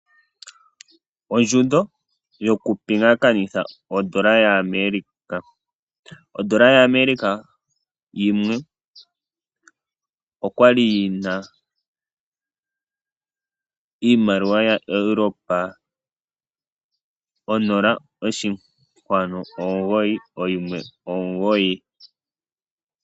Ondjundo yokupingakanitha odola yaAmerica. Odola yaAmerica yimwe okwa li yi na iimaliwa yaEuropa 0.919.